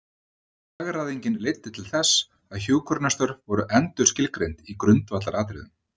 Hagræðingin leiddi til þess að hjúkrunarstörf voru endurskilgreind í grundvallaratriðum.